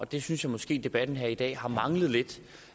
det synes jeg måske debatten her i dag har manglet lidt